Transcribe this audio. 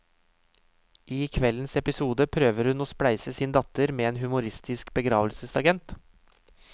I kveldens episode prøver hun å spleise sin datter med en humoristisk begravelsesagent.